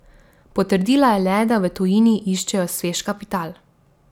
Potrdila je le, da v tujini iščejo svež kapital.